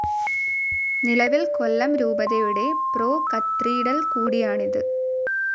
നിലവിൽ കൊല്ലം രൂപതയുടെ pro cathedral കൂടിയാണിത്.